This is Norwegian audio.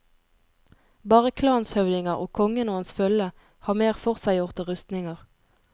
Bare klanshøvdinger og kongen og hans følge har mer forseggjorte rustninger.